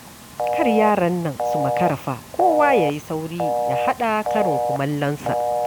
Kar yaran su makara fa! kowa ya yi sauri ya haɗa karin kumallonsa.